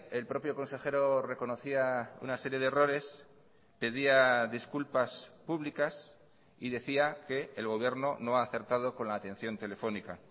el propio consejero reconocía una serie de errores pedía disculpas públicas y decía que el gobierno no ha acertado con la atención telefónica